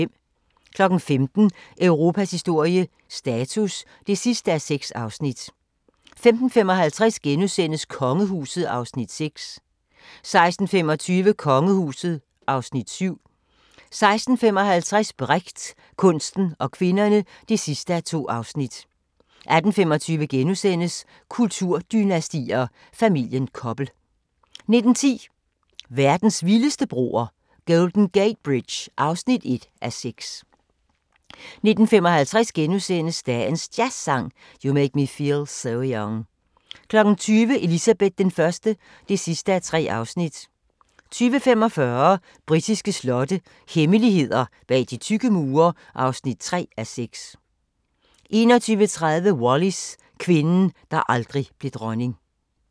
15:00: Europas historie – status (6:6) 15:55: Kongehuset (Afs. 6)* 16:25: Kongehuset (Afs. 7) 16:55: Brecht – kunsten og kvinderne (2:2) 18:25: Kulturdynastier: Familien Koppel * 19:10: Verdens vildeste broer – Golden Gate Bridge (1:6) 19:55: Dagens Jazzsang: You Make Me Feel So Young * 20:00: Elizabeth I (3:3) 20:45: Britiske slotte – hemmeligheder bag de tykke mure (3:6) 21:30: Wallis – kvinden, der aldrig blev dronning